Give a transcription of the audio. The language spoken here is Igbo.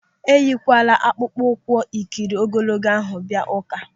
Eyikwala akpụkpọ ụkwụ ikiri ogologo ahụ bịa ụ́ká!